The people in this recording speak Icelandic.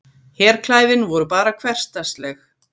Herklæðin voru bara hversdagsleg.